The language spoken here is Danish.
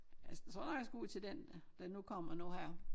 Altså jeg tror nok jeg skal ud til den der nu kommer nu her